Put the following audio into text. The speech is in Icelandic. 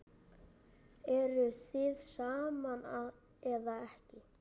Eruð þið saman eða ekki?